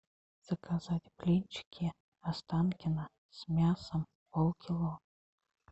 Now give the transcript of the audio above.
заказать блинчики останкино с мясом полкило